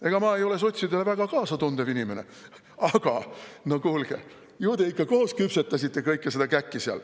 Ega ma ei ole sotsidele väga kaasatundev inimene, aga no kuulge, ju te ikka koos küpsetasite kõike seda käkki seal.